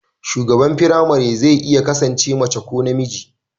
shugaban firamare zai iya kasance mace ko namiji